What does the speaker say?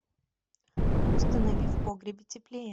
установи в погребе теплее